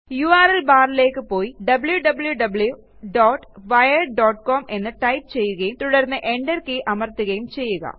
URL ബാറിലേയ്ക്ക് പോയി wwwwiredcom എന്ന് ടൈപ്പ് ചെയ്യുകയും തുടർന്ന് enter കെയ് അമർത്തുകയും ചെയ്യുക